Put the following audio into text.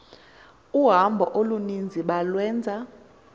uhambo oluninzi balwenza